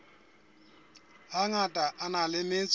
hangata a na le metso